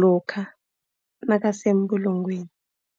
lokha nabasebulungweni.